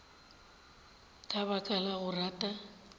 ka baka la go rata